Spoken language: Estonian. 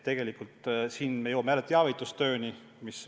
Tegelikult siin me jõuame jälle teavitustööni.